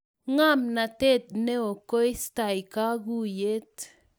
ngamnatet neo koistai kakuiyet